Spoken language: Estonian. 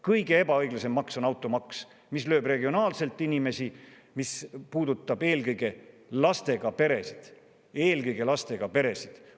Kõige ebaõiglasem maks on automaks, mis lööb regionaalselt inimesi, mis puudutab eelkõige lastega peresid – eelkõige lastega peresid!